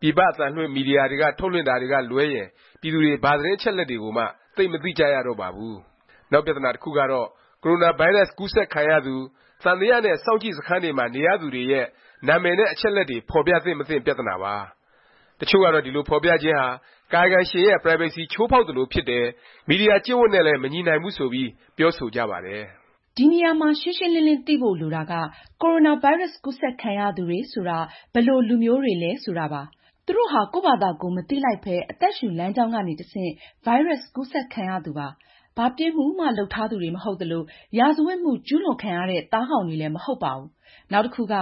ပြည်ပ အသံလွှင့်နဲ့ မီဒီယာတွေက လွှင့်ထုတ်တာတွေကလွဲရင် ပြည်သူတွေ ဘာသတင်း အချက်အလက်တွေကိုမှ သိပ်မသိကြရတော့ပါဘူး။ နောက်ပြသနာ တစ်ခုကတော့ ကိုရိုနာဗိုင်းရပ်စ် ကူးစက်ခံရသူ၊ သံသယ နဲ့ စောင့်ကြည့်စခန်းတွေမှာ နေရသူတွေရဲ့ နာမည်နဲ့ အချက်အလက်တွေ ဖော်ပြသင့် မသင့် ပြသနာပါ။ တစ်ချို့ကတော့ ဒီလို ဖော်ပြခြင်းဟာ ကာယကံရှင်ရဲ့ Privacy ချိုးဖေါက်သလိုဖြစ်တယ်၊ မီဒီယာ ကျင့်ဝတ်နဲ့လည်း မညီနိုင်ဘူး ဆိုပြီး ပြောဆိုကြပါတယ်။ ဒီနေရာမှာ ရှင်းရှင်းလင်းလင်း သိဖို့ လိုတာက ကိုရိုနာဗိုင်းရပ်စ် ကူးစက်ခံရသူတွေဆိုတာ ဘယ်လိုလူမျိုးတွေလဲ ဆိုတာပါ။ သူတို့ဟာ ကိုယ့်ဖာသာကိုယ် မသိလိုက်ပဲ အသက်ရှူလမ်းကြောင်းကနေ တဆင့် ဗိုင်းရပ်စ် ကူးစက်ခံရသူပါ။ ဘာပြစ်မှုမှ လုပ်ထားသူတွေ မဟုတ်သလို၊ ရာဇဝတ်မှု ကျူးလွန်ခံရတဲ့ သားကောင်တွေလည်း မဟုတ်ပါဘူး။ နောက်တစ်ခုက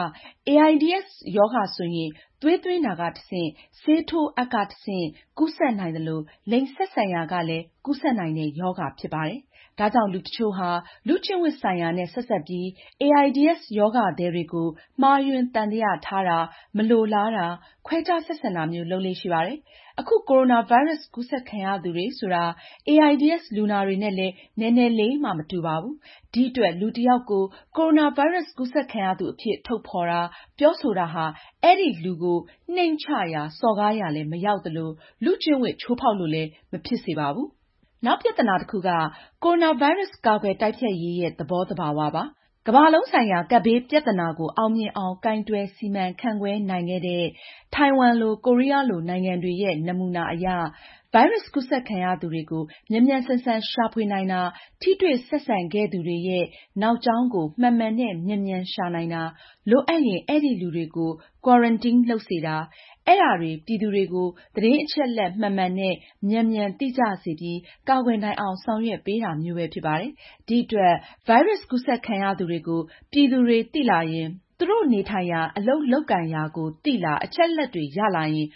AIDS ရောဂါဆိုရင် သွေးသွင်းတာကနေ တဆင့်၊ ဆေးထိုးအပ်ကနေ တဆင့် ကူးစက်နိုင်သလို လိင်ဆက်ဆံရာကနေလည်း ကူးစက်နိုင်တဲ့ ရောဂါဖြစ်ပါတယ်။ ဒါကြောင့် လူတစ်ချို့ဟာ လူ့ကျင့်ဝတ်ဆိုင်ရာနဲ့ ဆက်စပ်ပြီး AIDS ရောဂါသည်တွေကို မှားယွင်း သံသယထားတာ၊ မလိုလားတာ၊ ခွဲခြားဆက်ဆံတာမျိုး လုပ်လေ့ရှိပါတယ်။ အခု ကိုရိုနာ ဗိုင်းရပ်စ် ကူးစက်ခံရသူတွေဆိုတာ AIDS လူနာတွေနဲ့လည်း နည်းနည်းလေးမှ မတူပါဘူး။ ဒီအတွက် လူတစ်ယောက်ကို ကိုရိုနာဗိုင်းရပ်စ် ကူးစက်ခံရသူအဖြစ် ထုတ်ဖော်တာ၊ ပြောဆိုတာဟာ အဲဒီလူကို နှိမ့်ချရာ စော်ကားရာလည်း မရောက်သလို၊ လူ့ကျင့်ဝတ် ချိုးဖေါက်သလိုလည်း မဖြစ်စေပါဘူး။ နောက်ပြသနာ တစ်ခုက ကိုရိုနာဗိုင်းရပ်စ် ကာကွယ် တိုက်ဖျက်ရေးရဲ့ သဘောသဘာဝပါ။ ကမ္ဘာလုံးဆိုင်ရာ ကပ်ဘေး ပြသနာကို အောင်မြင်အောင် ကိုင်တွယ်စီမံခန့်ခွဲနိုင်ခဲ့တဲ့ ထိုင်ဝမ်လို၊ ကိုရီးယားလို နိုင်ငံတွေရဲ့ နမူနာအရ ဗိုင်းရပ်စ် ကူးစက်ခံရသူတွေကို မြန်မြန်ဆန်ဆန် ရှာဖွေနိုင်တာ၊ ထိတွေ့ဆက်ဆံခဲ့သူတွေရဲ့ နောက်ကြောင်းကို မှန်မှန်နဲ့ မြန်မြန် ရှာနိုင်တာ၊ လိုအပ်ရင် အဲဒီလူတွေကို Quarantine လုပ်စေတာ၊ အဲဒါတွေ ပြည်သူတွေကို သတင်းအချက်အလက် မှန်မှန်နဲ့ မြန်မြန် သိကြစေပြီး ကာကွယ်နိုင်အောင် ဆောင်ရွက်ပေးတာမျိုးပဲ ဖြစ်ပါတယ်။ ဒီအတွက် ဗိုင်းရပ်စ် ကူးစက်ခံရသူတွေကို ပြည်သူတွေ သိလာရင်၊ သူတို့နေထိုင်ရာ၊ အလုပ်လုပ်ကိုင်ရာကို သိလာ၊ အချက်အလက်တွေ ရလာရင်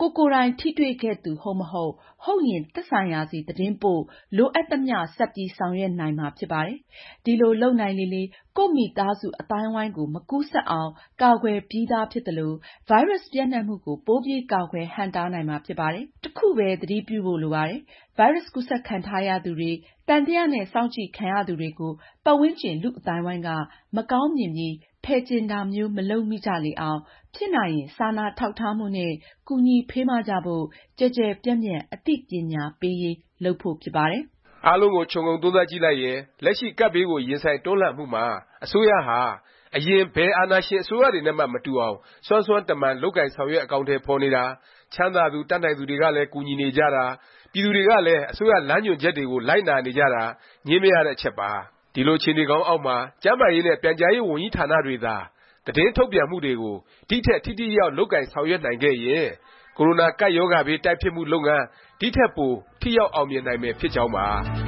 ကိုယ်ကိုယ်တိုင် ထိတွေ့ခဲ့သူ ဟုတ်မဟုတ်၊ ဟုတ်ရင် သက်ဆိုင်ရာဆီ သတင်းပို့၊ လိုအပ်သမျှ ဆက်ပြီး ဆောင်ရွက်နိုင်မှာ ဖြစ်ပါတယ်။ ဒီလို လုပ်နိုင်လေလေ ကိုယ့်မိသားစု အသိုင်းအဝိုင်းကို မကူးစက်အောင် ကာကွယ်ပြီးသား ဖြစ်သလို၊ ဗိုင်းရပ်စ် ပျံ့နှံ့မှုကို ပိုပြီး ကာကွယ် ဟန့်တားနိုင်မှာ ဖြစ်ပါတယ်။ တစ်ခုပဲ သတိပြုဖို့ လိုပါတယ်။ ဗိုင်းရပ်စ် ကူးစက်ခံထားရသူတွေ၊ သံသယ နဲ့ စောင့်ကြည့်ခံရသူတွေကို ပတ်ဝန်းကျင် လူ့အသိုင်းအဝိုင်းက မကောင်းမြင်ပြီး ဖယ်ကျဉ်တာမျိုး မလုပ်မိကြလေအောင်၊ ဖြစ်နိုင်ရင် စာနာထောက်ထားမှုနဲ့ ကူညီဖေးမကြဖို့ ကျယ်ကျယ်ပြန့်ပြန့် အသိပညာ ပေးရေး လုပ်ဖို့ ဖြစ်ပါတယ်။ အားလုံးကိုခြုံငုံသုံးသပ်ကြည့်လိုက်ရင် လက်ရှိ ကပ်ဘေးကို ရင်ဆိုင် တွန်းလှန်မှုမှာ အစိုးရဟာ အရင် ဘယ် အာဏာရှင် အစိုးရတွေနဲ့မှ မတူအောင် စွမ်းစွမ်းတမံ လုပ်ကိုင်ဆောင်ရွက် အကောင်အထည် ဖော်နေတာ၊ ချမ်းသာသူ၊ တတ်နိုင်သူတွေကလည်း ကူညီနေကြတာ၊ ပြည်သူတွေကလည်း အစိုးရ လမ်းညွှန်ချက်တွေကို လိုက်နာနေကြတာ ငြင်းမရတဲ့အချက်ပါ။ ဒီလို အခြေအနေကောင်းအောက်မှာ ကျန်းမာရေးနဲ့ ပြန်ကြားရေး ဝန်ကြီးဌာနတွေသာ သတင်းထုတ်ပြန်မှုတွေကို ဒီ့ထက် ထိထိရောက်ရောက် လုပ်ကိုင်ဆောင်ရွက်နိုင်ခဲ့ရင် ကိုရိုနာကပ်ရောဂါဘေး တိုက်ဖျက်မှု လုပ်ငန်း ဒီ့ထက်ပို ထိရောက်အောင်မြင်နိုင်မယ် ဖြစ်ကြောင်းပါ